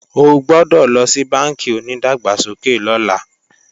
O gbọ́dọ̀ lọ sí bánkì onídàgbàsókè lọ́la